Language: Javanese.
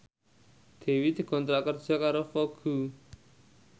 Dewi dikontrak kerja karo Vogue